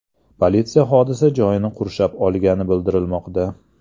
Politsiya hodisa joyini qurshab olgani bildirilmoqda.